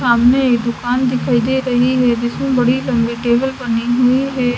सामने एक दुकान दिखाई दे रही है जिसमें बड़ी लंबी टेबल बनी हुई है।